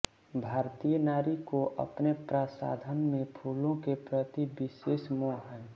भारतीय नारी को अपने प्रसाधन में फूलों के प्रति विशेष मोह है